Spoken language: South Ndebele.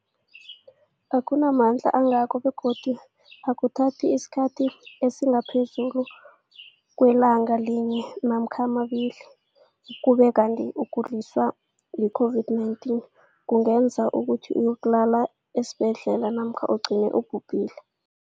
akuna mandla angako begodu akuthathi isikhathi esingaphezulu kwelanga linye namkha mabili, ukube kanti ukuguliswa yi-COVID-19 kungenza ukuthi uyokulala esibhedlela namkha ugcine ubhubhile.